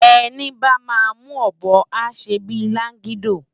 Eni bá má mú òbò á sé bi lágidó